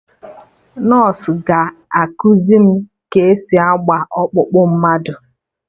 Nọsụ ga-ekuzi m ka esi agba ọkpụkpụ mmadụ